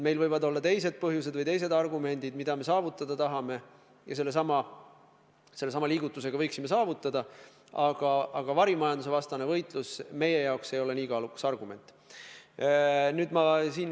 Meil võivad olla teised põhjused või teised argumendid või teised eesmärgid, mida me saavutada tahame ja sellesama liigutusega võiksime saavutada, aga varimajandusevastane võitlus ei ole meie jaoks nii kaalukas argument.